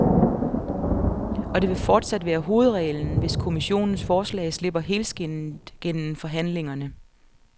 Og det vil fortsat være hovedreglen, hvis kommissionens forslag slipper helskindet gennem forhandlingerne.